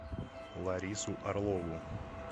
ларису орлову